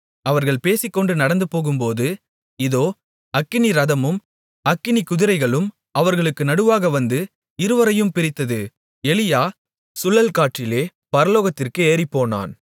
அவர்கள் பேசிக்கொண்டு நடந்துபோகும்போது இதோ அக்கினிரதமும் அக்கினிக்குதிரைகளும் அவர்களுக்கு நடுவாக வந்து இருவரையும் பிரித்தது எலியா சுழல்காற்றிலே பரலோகத்திற்கு ஏறிப்போனான்